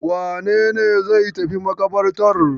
Wane ne zai tafi maƙabartar?